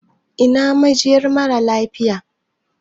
Ina majinyar mara lafiya?